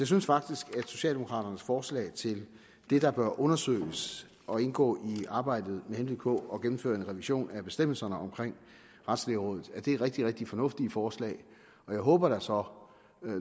synes faktisk at socialdemokraternes forslag til det der bør undersøges og indgå i arbejdet med henblik på at gennemføre en revision af bestemmelserne omkring retslægerådet er rigtig rigtig fornuftige forslag jeg håber da så